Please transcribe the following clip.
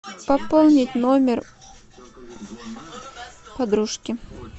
пополнить номер подружки